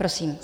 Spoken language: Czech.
Prosím.